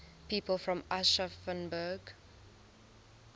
people from aschaffenburg